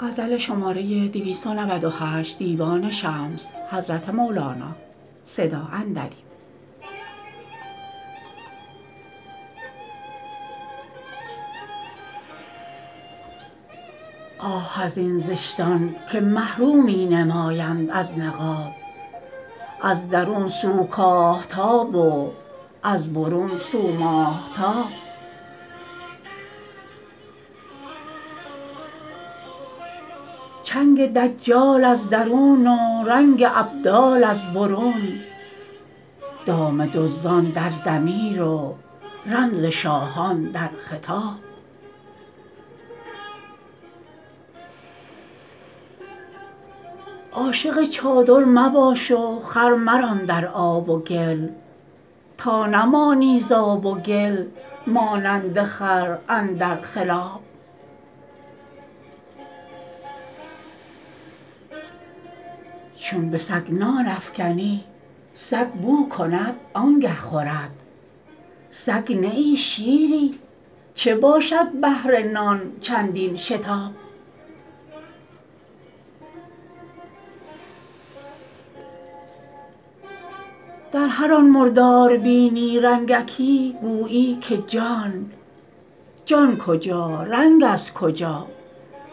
آه از این زشتان که مه رو می نمایند از نقاب از درون سو کاه تاب و از برون سو ماهتاب چنگ دجال از درون و رنگ ابدال از برون دام دزدان در ضمیر و رمز شاهان در خطاب عاشق چادر مباش و خر مران در آب و گل تا نمانی ز آب و گل مانند خر اندر خلاب چون به سگ نان افکنی سگ بو کند آنگه خورد سگ نه ای شیری چه باشد بهر نان چندین شتاب در هر آن مردار بینی رنگکی گویی که جان جان کجا رنگ از کجا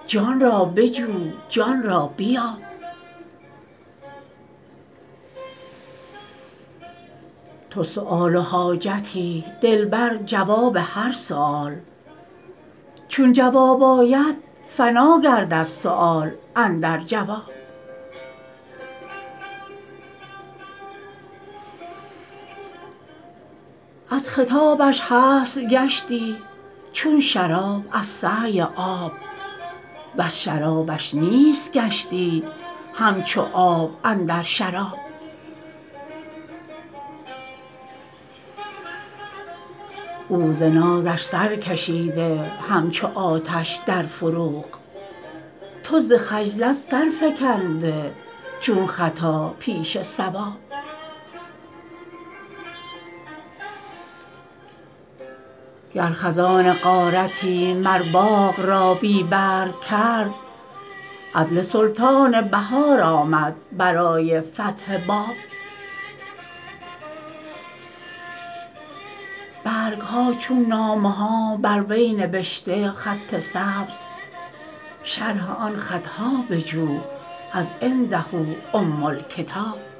جان را بجو جان را بیاب تو سؤال و حاجتی دلبر جواب هر سؤال چون جواب آید فنا گردد سؤال اندر جواب از خطابش هست گشتی چون شراب از سعی آب وز شرابش نیست گشتی همچو آب اندر شراب او ز نازش سر کشیده همچو آتش در فروغ تو ز خجلت سر فکنده چون خطا پیش صواب گر خزان غارتی مر باغ را بی برگ کرد عدل سلطان بهار آمد برای فتح باب برگ ها چون نامه ها بر وی نبشته خط سبز شرح آن خط ها بجو از عنده ام الکتاب